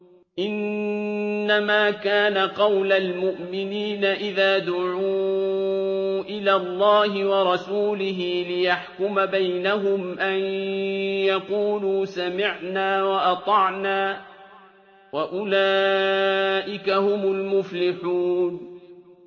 إِنَّمَا كَانَ قَوْلَ الْمُؤْمِنِينَ إِذَا دُعُوا إِلَى اللَّهِ وَرَسُولِهِ لِيَحْكُمَ بَيْنَهُمْ أَن يَقُولُوا سَمِعْنَا وَأَطَعْنَا ۚ وَأُولَٰئِكَ هُمُ الْمُفْلِحُونَ